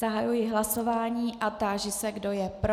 Zahajuji hlasování a táži se, kdo je pro.